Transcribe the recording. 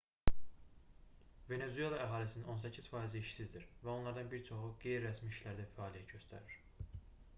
venesuela əhalisinin on səkkiz faizi işsizdir və onlardan bir çoxu qeyri-rəsmi işlərdə fəaliyyət göstərir